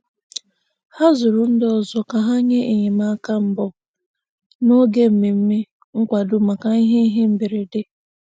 Ha zụrụ ndị ọzọ ka ha nye enyemaka mbụ n'oge mmemme nkwado maka ihe ihe mberede.